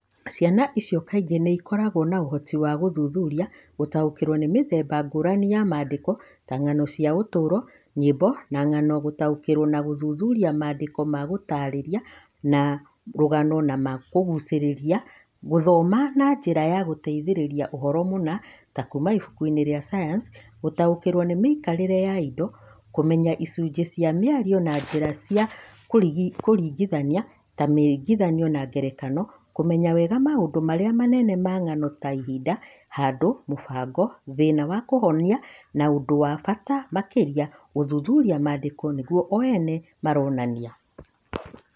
Ciana icio kaingĩ nĩ ikoragwo na ũhoti wa gũthuthuria na gũtaũkĩrwo nĩ mĩthemba ngũrani ya maandĩko ta ng'ano cia ũtũũro, nyĩmbo na ng'ano; gũtaũkĩrwo na gũthuthuria maandĩko ma gũtaarĩria, ma rũgano na ma kũgucĩrĩria; gũthoma na njĩra ya gũteithĩrĩria ũhoro mũna, ta kuuma ibuku-inĩ rĩa sayansi; gũtaũkĩrũo nĩ mĩikaranĩrie ya indo; kũmenya icunjĩ cia mĩario na njĩra cia kũringithania ta mĩringithania na ngerekano; kũmenya wega maũndũ marĩa manene ma ng'ano ta ihinda, handũ, mũbango, thĩna na kĩhonia; na ũndũ ũrĩa wa bata makĩria gũthuthuria maandĩko nĩguo one ũrĩa maronania.